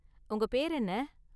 உங்க பேரு என்ன?